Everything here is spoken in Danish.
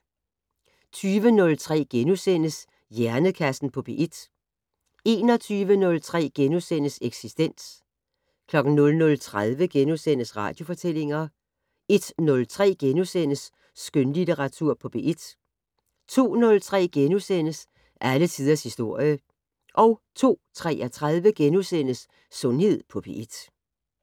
20:03: Hjernekassen på P1 * 21:03: Eksistens * 00:30: Radiofortællinger * 01:03: Skønlitteratur på P1 * 02:03: Alle tiders historie * 02:33: Sundhed på P1 *